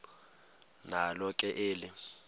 nalo ke eli